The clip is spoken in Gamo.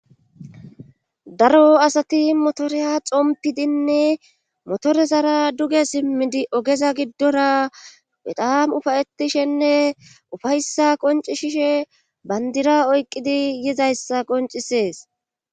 daro asati motoreya xompidinne motorezara duge simmidi ogeza giddora pedam ufayetishenne ufayssa qonci shishe bandira oyqqidi yizayssa qoncisees